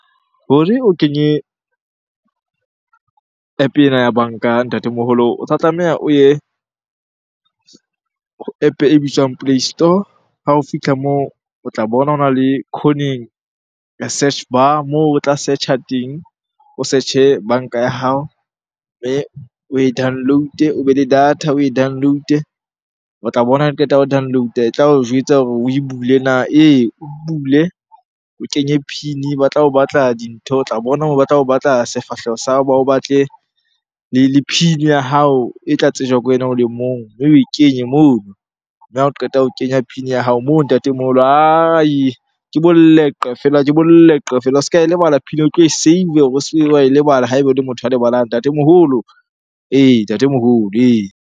Hore o kenye App-e ena ya banka ntatemoholo, o tla tlameha o ye App-e e bitswang play store. Ha o fitlha moo o tla bona hona le khoneng search bar moo o tla search-a teng, o search-e banka ya hao mme oe download-e. O be le data oe download-e. O tla bona ha qeta ho download-a e tla o jwetsa hore oe bule na? Ee, oe bule o kenye PIN-e. Ba tla o batla dintho, o tla bona batla ho batla sefahleho sa hao, ba o batle le PIN ya hao e tla tsejwa ke wena o le mong. Mme oe kenye mono, mme ha o qeta ho kenya PIN ya hao moo ntatemoholo ke boleqe feela, ke boleqe feela. O se ka e lebala PIN eo, o tlo e save-e. O se ke wa lebala ha ebe o le motho ya lebalang ntatemoholo. Ee, ntatemoholo ee.